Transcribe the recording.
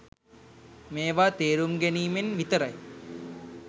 මේවා තේරුම් ගැනීමෙන් විතරයි.